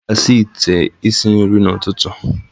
A ga-asa ite isi nri n'ụtụtụ.